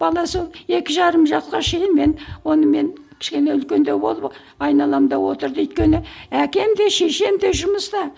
бала сол екі жарым жасқа шейін мен оны мен кішкене үлкендеу болдым айналамда отырды өйткені әкем де шешем де жұмыста